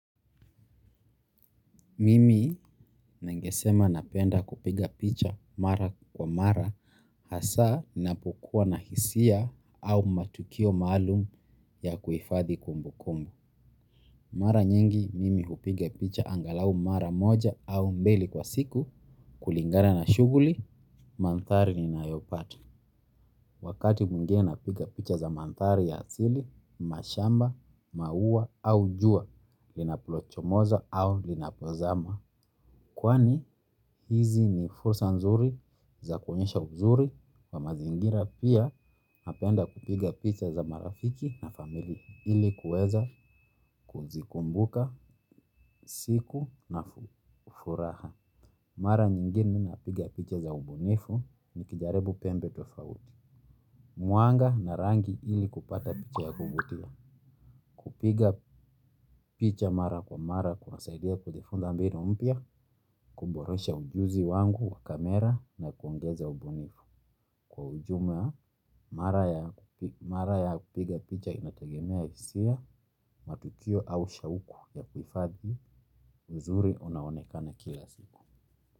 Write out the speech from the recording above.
Mimi ningesema napenda kupiga picha mara kwa mara hasa napoakua na hisia au matukio maalum ya kuifadhi kumbu kumbu. Mara nyingi, mimi hupiga picha angalau mara moja au mbili kwa siku kulingana na shuguli, mantari ninayopata. Wakati mwingine napiga picha za mantari ya asili, mashamba, maua au jua, linaplochomozo au linapozama. Kwani hizi ni fursa nzuri za kuonyesha uzuri wa mazingira pia napenda kupiga picha za marafiki na familia ili kuweza kuzikumbuka siku na furaha. Mara nyingine napiga picha za ubunifu nikijaribu pembe tofauti. Mwanga na rangi ili kupata picha ya kuvutia. Kupiga picha mara kwa mara kunasaidia kujifunza mbinu mpya. Kumboresha ujuzi wangu kwa kamera na kuongeza ubunifu. Kwa ujumla mara ya mara ya kupiga picha inategemea hisia. Matukio au shauku ya kuhifadhi uzuri unaonekana kila siku.